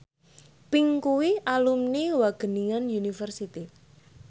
Pink kuwi alumni Wageningen University